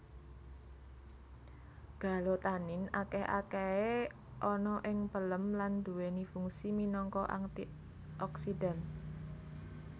Galotanin akeh akahe ana ing pelem lan duweni fungsi minangka antioksidan